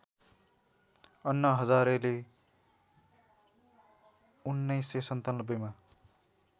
अन्ना हजारेले १९९७ मा